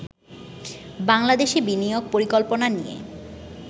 বাংলাদেশে বিনিয়োগ পরিকল্পনা নিয়ে